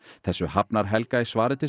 þessu hafnar Helga í svari til